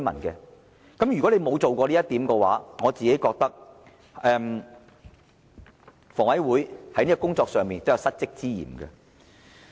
如果房委會沒有做到這一點，我覺得房委會在這項工作上有失職之嫌。